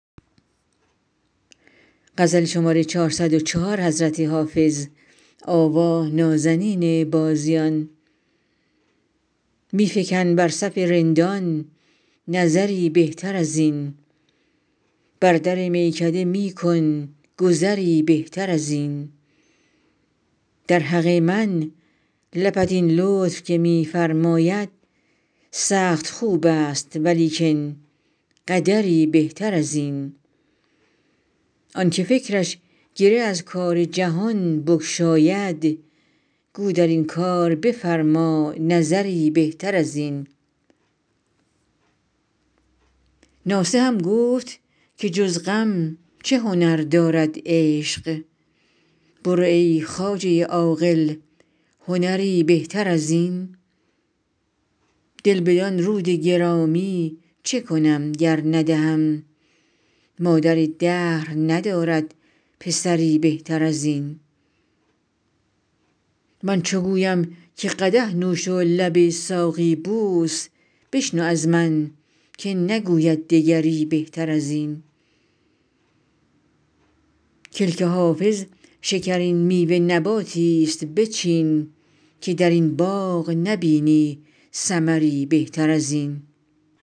می فکن بر صف رندان نظری بهتر از این بر در میکده می کن گذری بهتر از این در حق من لبت این لطف که می فرماید سخت خوب است ولیکن قدری بهتر از این آن که فکرش گره از کار جهان بگشاید گو در این کار بفرما نظری بهتر از این ناصحم گفت که جز غم چه هنر دارد عشق برو ای خواجه عاقل هنری بهتر از این دل بدان رود گرامی چه کنم گر ندهم مادر دهر ندارد پسری بهتر از این من چو گویم که قدح نوش و لب ساقی بوس بشنو از من که نگوید دگری بهتر از این کلک حافظ شکرین میوه نباتی ست بچین که در این باغ نبینی ثمری بهتر از این